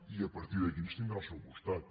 i a partir d’aquí ens tindrà al seu costat